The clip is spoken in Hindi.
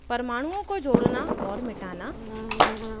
* परमाणुओं को जोड़ना और मिटाना